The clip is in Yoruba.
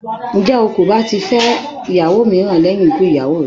Ǹjẹ́ o kò bá ti fẹ́ ìyàwó míràn lẹ́yìn ikú ìyàwó rẹ?